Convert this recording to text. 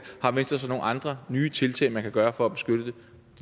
har venstre så nogle andre nye tiltag man kan gøre for at beskytte den